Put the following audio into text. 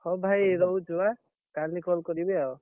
ହଉ ଭାଇ ରହୁଛୁ ଏଁ? କାଲି call କରିବି ଆଉ।